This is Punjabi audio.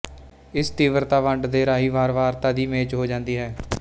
ਇਸ ਤੀਵਰਤਾ ਵੰਡ ਦੇ ਰਾਹੀਂ ਵਾਰਵਾਰਤਾ ਦੀ ਮੇਚ ਹੋ ਜਾਂਦੀ ਹੈ